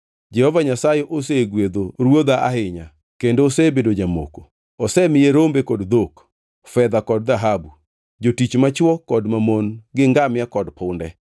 Jehova Nyasaye osegwedho ruodha ahinya kendo osebedo jamoko. Osemiye rombe kod dhok, fedha kod dhahabu, jotich machwo kod mamon gi ngamia kod punde.